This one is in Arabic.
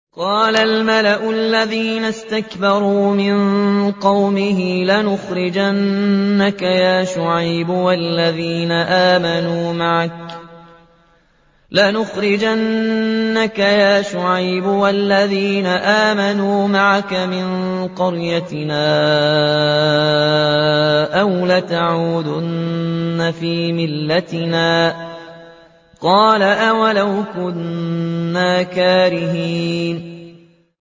۞ قَالَ الْمَلَأُ الَّذِينَ اسْتَكْبَرُوا مِن قَوْمِهِ لَنُخْرِجَنَّكَ يَا شُعَيْبُ وَالَّذِينَ آمَنُوا مَعَكَ مِن قَرْيَتِنَا أَوْ لَتَعُودُنَّ فِي مِلَّتِنَا ۚ قَالَ أَوَلَوْ كُنَّا كَارِهِينَ